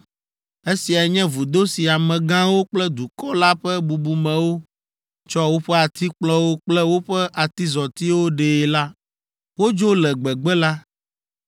Esiae nye vudo si amegãwo kple dukɔ la ƒe bubumewo tsɔ woƒe atikplɔwo kple woƒe atizɔtiwo ɖee la.” Wodzo le gbegbe la,